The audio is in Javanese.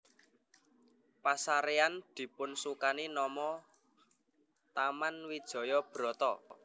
Pasarean dipunsukani nama Taman Wijaya Brata